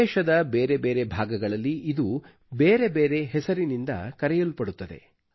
ದೇಶದ ಬೇರೆ ಬೇರೆ ಭಾಗಗಳಲ್ಲಿ ಇದು ಬೇರೆ ಬೇರೆ ಹೆಸರಿನಿಂದ ಕರೆಯಲ್ಪಡುತ್ತದೆ